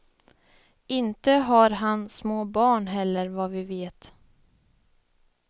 Inte har han små barn heller vad vi vet.